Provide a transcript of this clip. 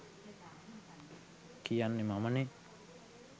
කියන්නේ මමනේ.